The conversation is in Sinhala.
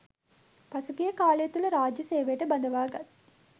පසුගිය කාලය තුල රාජ්‍ය සේවයට බඳවාගත්